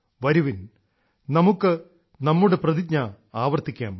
വരുവിൻ നമുക്ക് നമ്മളുടെ പ്രതിജ്ഞ ആവർത്തിക്കാം